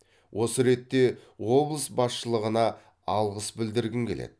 осы ретте облыс басшылығына алғыс білдіргім келеді